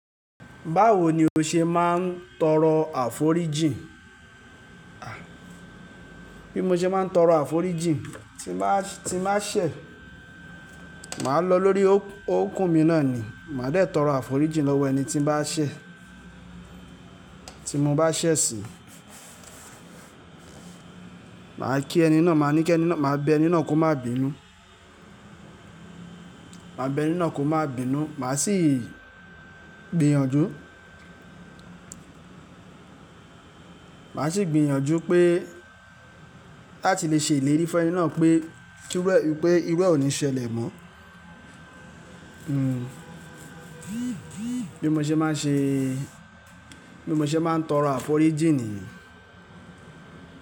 Báwo ni o ṣe máa ń tọrọ àforíjìn? Bí mo ṣe máa ń tọrọ àforíjìn, tí mbá, tí mbá sè, màá lọ lórí òkún mi náà ni, màá dẹ̀ tọrọ àforíjìn lọ́wọ́ ẹni tí màá ṣè, tí mo bá ṣẹ̀ sì. Màá kí ẹni náà, màá ní kí ẹni náà, màá bẹ ẹni náà kó má bínú. Màá bẹ ẹni náà kó má bínú, màá sì gbìyànjú, màá sì gbìyànjú pé láti lè ṣe ìlérí fún ẹni náà pé, túbọ̀ wípé irú ẹ ò ní ṣẹlẹ̀ mọ. Bí mo ṣe máa ń ṣe, bí mo ṣe máa ń tọrọ àforíjìn ni.